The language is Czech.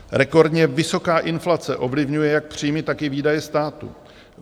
Rekordně vysoká inflace ovlivňuje jak příjmy, tak i výdaje státu.